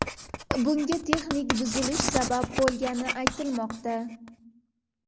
Bunga texnik buzilish sabab bo‘lgani aytilmoqda.